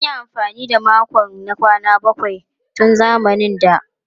An yi amfani da makon na kwana bakwai tun zamanin da.